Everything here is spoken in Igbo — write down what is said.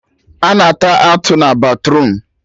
A na-ata atụ na batruum